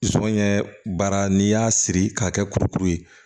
Sɔɲɛ baara n'i y'a siri k'a kɛ kurukuru ye